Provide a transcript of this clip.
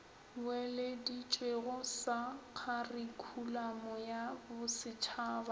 boeleditšwego sa kharikhulamo ya bosetšhaba